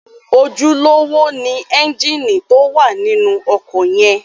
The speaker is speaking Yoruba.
Ojúlówó ni ẹ́ńgìnì tó wà nínú ọkọ̀ yẹn.